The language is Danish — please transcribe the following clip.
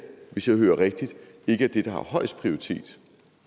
hvis jeg hører rigtigt ikke er det der har højest prioritet